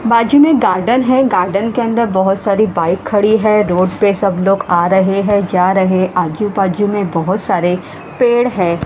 बाजू में गार्डन है गार्डन के अंदर बहुत सारी बाइक खड़ी है रोड पे सब लोग आ रहे हैं जा रहे हैं आजू बाजू में बहुत सारे पेड़ है।